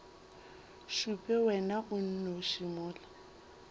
šupe wena o nnoši mola